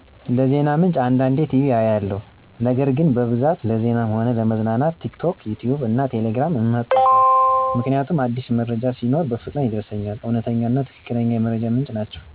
ለዜና ምንጭ አንዳንዴ ቲቪ አያለሁ ነገር ግን በብዛት ለዜናም ሆነ ለመዝናናት ቲክቶክ፣ ዩትዩብ እና ቴሌግራምን እመርጣለሁ ምክንያቱም አዲስ መረጃ ሲኖር በፍጥነት ይደርሰኛል፤ እውነተኛ እና ትክክለኛ የመረጃ ምንጮችም ናቸወ።